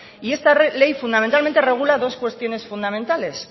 y esta ley fundamentalmente regula dos cuestiones fundamentales